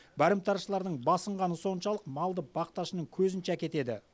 барымташылардың басынғаны соншалық малды бақташының көзінше әкетеді